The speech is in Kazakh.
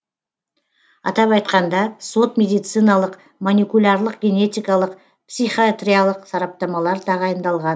атап айтқанда сот медициналық моникулярлық генетикалық психиатриялық сараптамалар тағайындалған